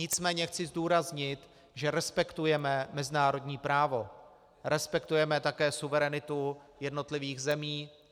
Nicméně chci zdůraznit, že respektujeme mezinárodní právo, respektujeme také suverenitu jednotlivých zemí.